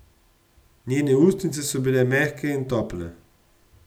Njene ustnice so bile mehke in tople.